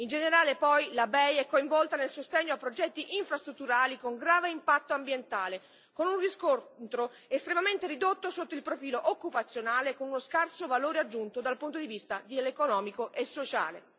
In generale, poi, la BEI è coinvolta nel sostegno a progetti infrastrutturali con grave impatto ambientale, con un riscontro estremamente ridotto sotto il profilo occupazionale e con uno scarso valore aggiunto dal punto di vista economico e sociale.